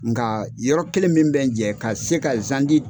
Nka yɔrɔ kelen min bɛ jɛ ka se ka